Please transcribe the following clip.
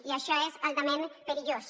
i això és altament perillós